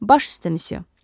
Baş üstə missyo.